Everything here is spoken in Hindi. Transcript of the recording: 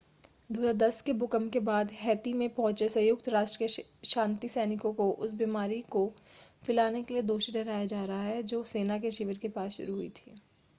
2010 के भूकंप के बाद हैती में पहुंचे संयुक्त राष्ट्र के शांति सैनिकों को उस बीमारी को फैलाने के लिए दोषी ठहराया जा रहा है जो सेना के शिविर के पास शुरू हुई थी